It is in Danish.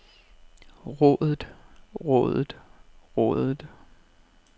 rådet rådet rådet